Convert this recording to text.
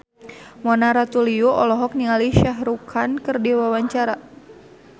Mona Ratuliu olohok ningali Shah Rukh Khan keur diwawancara